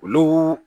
Olu